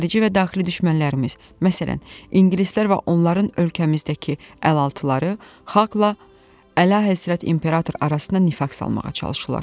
Xarici və daxili düşmənlərimiz, məsələn, ingilislər və onların ölkəmizdəki əlaltıları xalqla Əlahəzrət İmperator arasına nifaq salmağa çalışırlar.